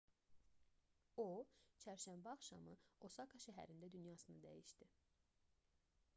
o çərşənbə axşamı osaka şəhərində dünyasını dəyişdi